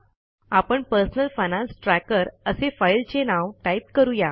आपण personal finance tracker असे फाईलचे नाव टाईप करू या